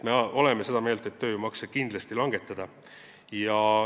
Me oleme seda meelt, et tööjõumakse tuleb kindlasti langetada.